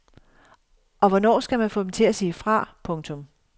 Og hvornår skal man få dem til at sige fra. punktum